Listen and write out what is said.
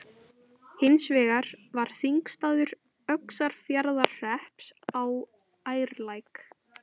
Hins vegar var þingstaður Öxarfjarðarhrepps á Ærlæk.